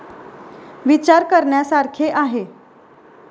' विचार करण्यासारखे आहे '